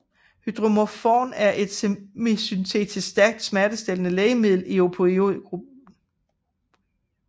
Hydromorphon er et semisyntetisk stærkt smertestillende lægemiddel i opioid gruppen